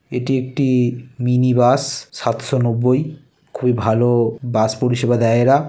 এটি একটি-ই mini bus. সাতশো নবব্বই। খুবই ভালো-ও বাস পরিসেবা দেয় এরা।